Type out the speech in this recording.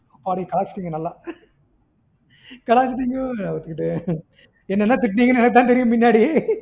அம்மாடி கலாய்ச்சிட்டிங்க நல்லா கலாய்ச்சிட்டிங்வேற கோ என்னென்ன திட்டுனிங்க பின்னாடி தான் தெரியும் நல்லா